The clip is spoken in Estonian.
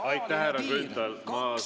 Aitäh, härra Grünthal!